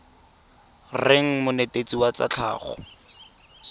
reng monetetshi wa tsa tlhago